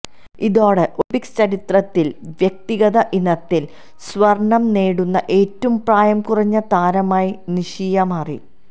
ഇതോടെ ഒളിംപിക്സ് ചരിത്രത്തിൽ വ്യക്തിഗത ഇനത്തിൽ സ്വർണം നേടുന്ന ഏറ്റവും പ്രായം കുറഞ്ഞ താരമായി നിഷിയ മാറി